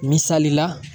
Misalila